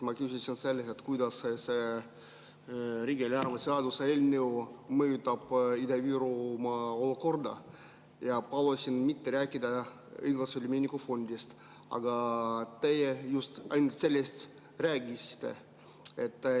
Ma küsisin, kuidas see riigieelarve seaduse eelnõu mõjutab Ida-Virumaa olukorda, ja palusin mitte rääkida õiglase ülemineku fondist, aga teie just ainult sellest rääkisite.